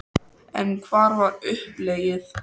En hvert var uppleggið?